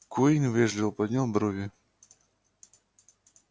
куинн вежливо поднял брови